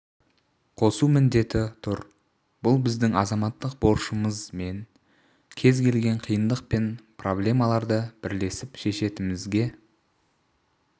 қосу міндеті тұр бұл біздің азаматтық борышымыз мен кез келген қиындық пен проблемаларды бірлесіп шешетімізге